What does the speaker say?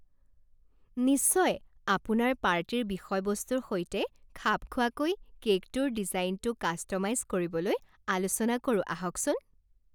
নিশ্চয়! আপোনাৰ পাৰ্টিৰ বিষয়বস্তুৰ সৈতে খাপ খোৱাকৈ কে'কটোৰ ডিজাইনটো কাষ্ট'মাইজ কৰিবলৈ আলোচনা কৰোঁ আহকচোন।